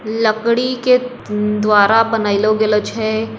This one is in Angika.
लकड़ी के द्वारा बनायेलो गयेलो छे।